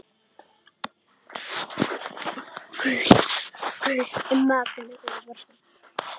Hún er hvað.